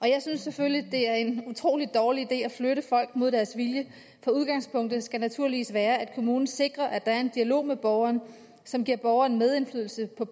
jeg synes selvfølgelig det er en utrolig dårlig idé at flytte folk mod deres vilje for udgangspunktet skal naturligvis være at kommunen sikrer at der er en dialog med borgeren som giver borgeren medindflydelse på